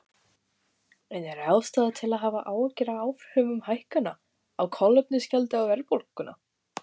En er ástæða til að hafa áhyggjur af áhrifum hækkana á kolefnisgjaldi á verðbólguna?